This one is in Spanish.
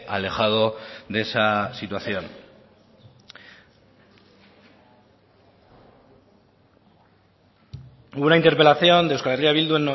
alejado de esa situación una interpelación de euskal herria bildu